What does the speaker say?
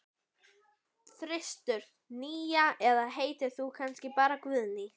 þristur, nía eða heitir þú kannski bara Guðný?